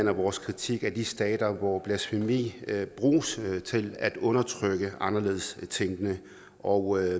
at vores kritik af de stater hvor blasfemi bruges til at undertrykke anderledes tænkende og